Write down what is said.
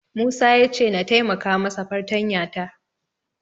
Musa ya ce na taimaka masa fartanya ta.